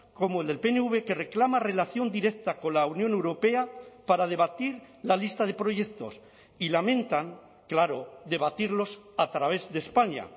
como el del pnv que reclama relación directa con la unión europea para debatir la lista de proyectos y lamentan claro debatirlos a través de españa